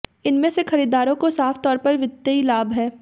इनमें खरीदारों को साफ तौर पर वित्तीय लाभ है